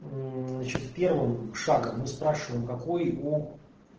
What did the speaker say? первым шагом мы спрашиваем какой у